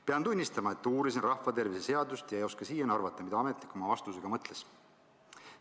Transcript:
Pean tunnistama, et uurisin rahvatervise seadust ega oska siiani arvata, mida ametnik oma vastusega mõtles.